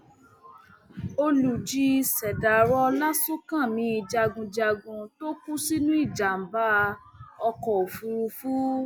olùjì ṣèdàrọ ọlásúnkámì jagunjagun tó kú sínú ìjàmbá ọkọ òfúrufú